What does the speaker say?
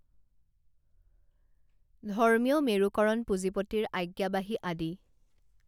ধৰ্মীয় মেৰু কৰণপুজিঁপতিৰ আজ্ঞাবাহী আদি